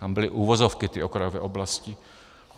- Tam byly uvozovky, ty okrajové oblasti.